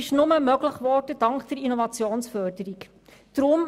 Das wurde nur dank der Innovationsförderung möglich.